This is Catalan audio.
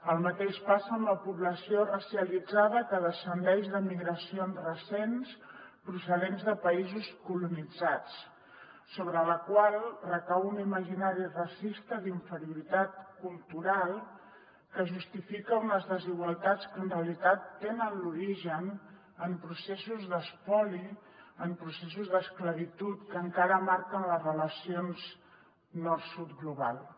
el mateix passa amb la població racialitzada que descendeix de migracions recents procedents de països colonitzats sobre la qual recau un imaginari racista d’inferioritat cultural que justifica unes desigualtats que en realitat tenen l’origen en processos d’espoli en processos d’esclavitud que encara marquen les relacions nord sud globals